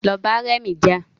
Lọ bá rẹmi jà